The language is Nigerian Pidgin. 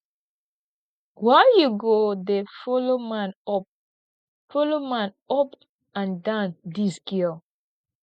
why you go dey follow man up follow man up and down dis girl